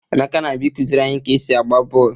Emeka na-abịa ịkụziri anyị ka e si agba bọọlụ.